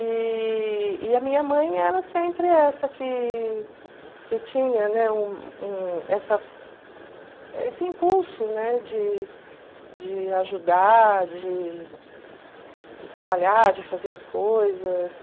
E e a minha mãe era sempre essa que que tinha, né, um um essa esse impulso, né, de de ajudar, de de trabalhar, de fazer as coisas.